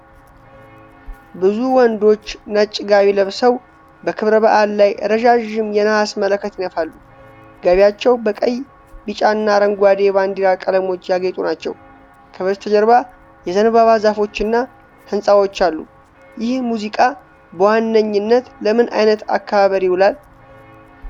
ብዙ ወንዶች ነጭ ጋቢ ለብሰው በክብረ በዓል ላይ ረዣዥም የነሐስ መለከት ይነፋሉ። ጋቢያቸው በቀይ፣ ቢጫና አረንጓዴ የባንዲራ ቀለሞች ያጌጡ ናቸው። ከበስተጀርባ የዘንባባ ዛፎች እና ሕንፃዎች አሉ። ይህ ሙዚቃ በዋነኝነት ለምን አይነት አከባበር ይውላል?